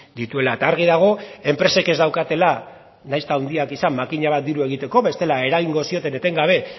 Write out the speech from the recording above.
dituela eta argi dago enpresek ez daukatela nahiz eta handiak izan makina bat diru egiteko bestela eragingo zioten etengabe